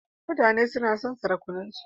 Mutane suna son sarakunansu.